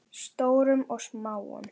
Stórum og smáum.